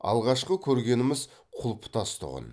алғашқы көргеніміз құлпытас тұғын